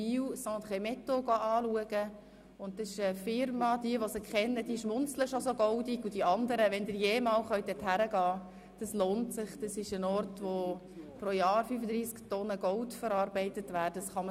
Wir zeigten den Gästen die Region des Bielersees und besuchten die Firma Cendres et Métaux, die pro Jahr 35 Tonnen Gold verarbeitet, was man sich kaum vorstellen kann.